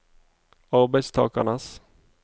arbeidstakernes